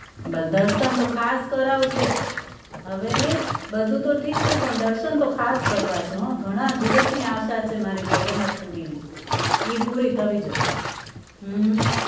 દર્શન તો ખાસ કરાવજે હવે બધું તો ઠીક છે પણ દર્શન તો ખાસ કરવા છે હો ઘણાં દિવસની આશા છે મારી જગન્નાથપુરીની ઈ પૂરી થવી જોઈ હમ